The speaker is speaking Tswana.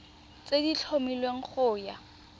tse di tlhomilweng go ya